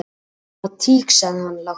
"""Það var tík, sagði hann lágt."""